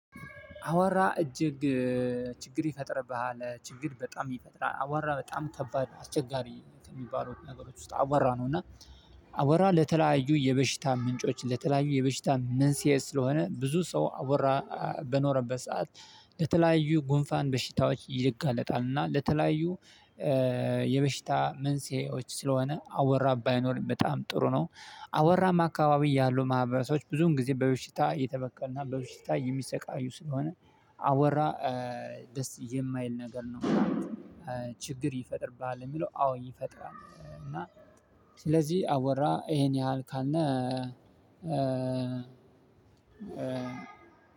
አቧራ እጅግ ችግር ይፈጥርብሃል። ችግር በጣም ይፈጥራል። አቧራ በጣም ከባድ አስቸጋሪ ከሚባሉት ነገሮች ውስጥ አቧራ ነው። እና አቧራ ለተለያዩ የበሽታ ምንጮች ለተለያዩ የበሽታ መንስኤ ስለሆነ ብዙ ሰው አቧራ በኖረበት ሰዓት። ለተለያዩ ጉንፋን በሽታዎች ይጋለጣል እና ለተለያዩ የበሽታ መንስኤዎች ስለሆነ አቧራ ባይኖር በጣም ጥሩ ነው። አቧራማ አካባቢ ያሉ ማህበረሰቦች ብዙም ጊዜ በበሽታ የተበከሉ እና በበሽታ የሚሰቃዩ ስለሆነ። አቧራ ደስ የማይል ነገር ነው። ችግር ይፈጥርብሃል ለሚለው አዎ ይፈጥራል። እና ስለዚህ አቧራ ይሄን ያህል ካልነ